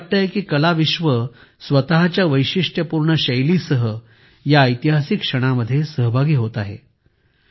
असं वाटतंय की कलाविश्व स्वतःच्या वैशिष्टयपूर्ण शैलीसह या ऐतिहासिक क्षणांमध्ये सहभागी होत आहे